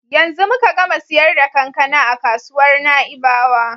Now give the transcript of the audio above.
Yanzu muka gama siyar da kankana a kasuwar Na'ibawa.